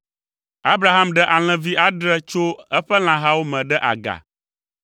Abraham ɖe alẽvi adre tso eƒe lãhawo me ɖe aga,